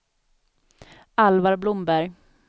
Alvar Blomberg